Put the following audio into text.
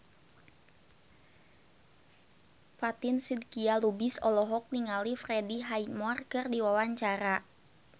Fatin Shidqia Lubis olohok ningali Freddie Highmore keur diwawancara